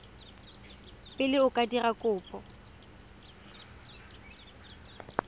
pele o ka dira kopo